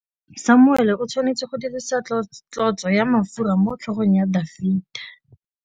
Samuele o tshwanetse go dirisa tlotsô ya mafura motlhôgong ya Dafita.